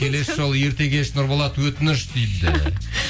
келесі жолы ерте келші нұрболат өтініш дейді